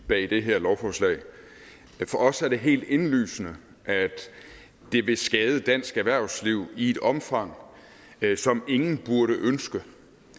bag det her lovforslag for os er det helt indlysende at det vil skade dansk erhvervsliv i et omfang som ingen burde ønske